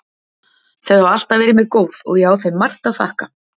Þau hafa alltaf verið mér góð og ég á þeim margt að þakka.